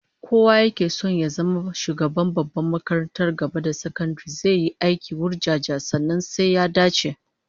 Kowa yake son ya zama shugaban babbar makarantar gaba da sakandare zai yi aiki wurjanjan, sannan sai ya dace